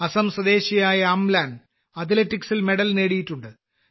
അസം സ്വദേശിയായ അംലാൻ അത്ലറ്റിക്സിൽ മെഡൽ നേടിയിട്ടുണ്ട്